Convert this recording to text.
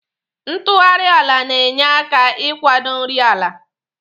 Ntụgharị ala na-enye aka ị kwado nri ala.